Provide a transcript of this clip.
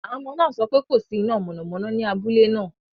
Àwọn ọmọ náà sọ pé kò sí iná mọ̀nàmọ́ná ní abúlé náà.